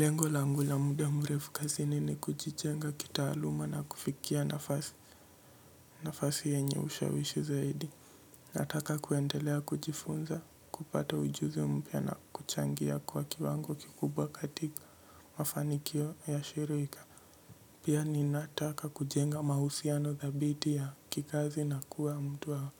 Lengo langu la muda mrefu kazini ni kujijenga kitaaluma na kufikia nafasi. Nafasi yenye ushawishi zaidi nataka kuendelea kujifunza kupata ujuzi mpya na kuchangia kwa kiwango kikubwa katika mafanikio ya shirika. Pia ninataka kujenga mahusiano dhabiti ya kikazi na kuwa mtu wa